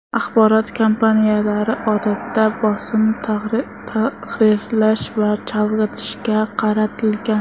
Axborot kampaniyalari, odatda, bosim, tahqirlash va chalg‘itishga qaratilgan.